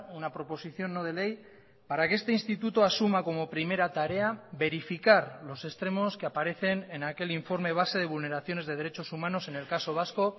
una proposición no de ley para que este instituto asuma como primera tarea verificar los extremos que aparecen en aquel informe base de vulneraciones de derechos humanos en el caso vasco